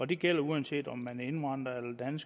det gælder uanset om man er indvandrer